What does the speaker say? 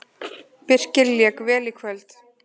Birkir lék vel í kvöld.